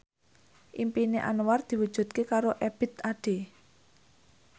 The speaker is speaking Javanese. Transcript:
impine Anwar diwujudke karo Ebith Ade